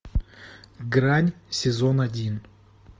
грань сезон один